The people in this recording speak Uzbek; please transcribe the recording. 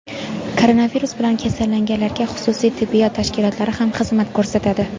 Koronavirus bilan kasallanganlarga xususiy tibbiyot tashkilotlari ham xizmat ko‘rsatadi.